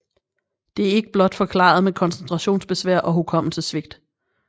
Det er ikke blot forklaret med koncentrationsbesvær og hukommelsessvigt